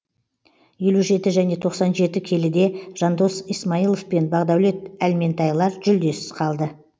елу жеті және тоқсан жеті келіде жандос исмайлов пен бағдаулет әлментайлар жүлдесіз қалды